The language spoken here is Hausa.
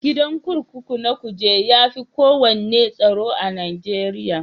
Gidan kurkuku na Kuje ya fi kowanne tsaro.a Najeriya.